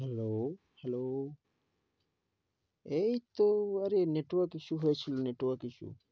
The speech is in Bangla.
Hello hello? এইতো আরে network issue হয়েছিল। network issue ।